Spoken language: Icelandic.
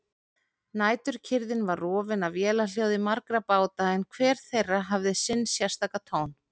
Næturkyrrðin var rofin af vélarhljóði margra báta en hver þeirra hafði sinn sérstaka tón.